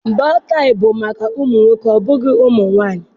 Bootaị bụ maka ụmụ nwoke obụghị ụmụ nwanyị.